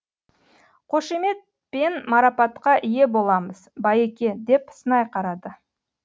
қошемет пен марапатқа ие боламыз байеке деп сынай қарады